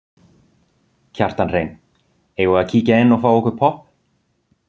Kjartan Hreinn: Eigum við að kíkja inn og fá okkur popp?